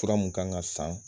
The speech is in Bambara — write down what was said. Fura mun kan ka san